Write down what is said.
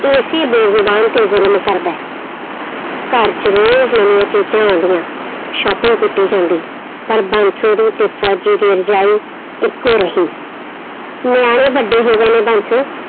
ਇਸੀ ਬੇਜ਼ੁਬਾਨ ਤੇ ਜ਼ੁਲਮ ਕਰਦਾ ਹੈ ਘਰ 'ਚ ਰੋਜ਼ ਨਵੀਂਆਂ ਚੀਜ਼ਾਂ ਆਉਂਦੀਆਂ shopping ਕੀਤੀ ਜਾਂਦੀ ਪਰ ਬਾਂਸੋ ਦੀ ਤੇ ਫ਼ੋਜ਼ੀ ਦੀ ਰਜਾਈ ਇੱਕੋ ਰਹੀ, ਨਿਆਣੇ ਵੱਡੇ ਹੋ ਗਏ ਨੇ ਬਾਂਸੋ